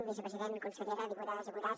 vicepresident consellera diputades diputats